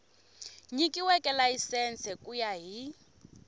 nyikiweke layisense ku ya hi